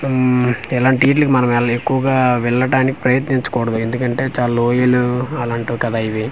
హ్ం ఇలాంటీట్లకి మనం ఎల్ ఎక్కువగా వెళ్ళటానికి ప్రయత్నించకూడదు ఎందుకంటే చాలా లోయలు అలాంటివి కదా ఇవి.